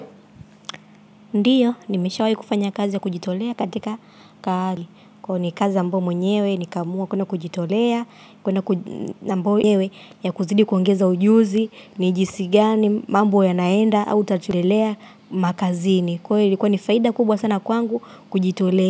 Ndiyo, nimeshawai kufanya kazi ya kujitolea katika kari. Kwa hiyo ni kazi ambayo mwenyewe, nika amua kuenda kujitolea, kuenda kuji ambayo mwenyewe ya kuzidi kuongeza ujuzi, ni jinsi gani, mambo ya naenda, au tatuelea makazini. Kwa hiyo ilikuwa ni faida kubwa sana kwangu kujitolea.